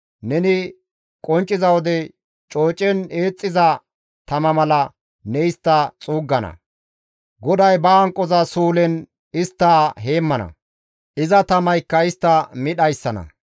Neni qoncciza wode coocen eexxiza tama mala ne istta xuuggana; GODAY ba hanqoza suulen istta xuuggana; iza tamaykka istta mi dhayssana.